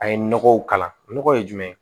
A ye nɔgɔw kala nɔgɔ ye jumɛn